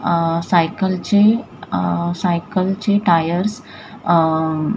cycle ची cycle चे tyres अ --